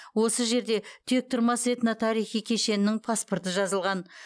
осы жерде тектұрмас этно тарихи кешенінің паспорты жазылған